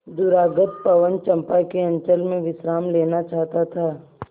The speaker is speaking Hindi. दूरागत पवन चंपा के अंचल में विश्राम लेना चाहता था